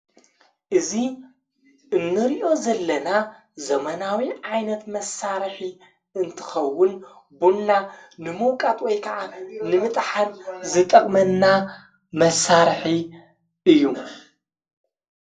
እዙ እንርእዮ ዘለና ዘመናዊ ዓይነት መሣርኂ እንትኸውን ቦንና ንምውቃጥ ወይ ከዓ ንምጥሓን ዝጠቕመና መሣርሒ እዩ።